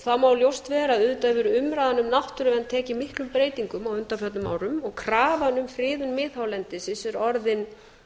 það má ljóst vera að auðvitað hefur umræðan um náttúruvernd tekið miklum breytingum á undanförnum árum og krafan um friðun miðhálendisins er orðin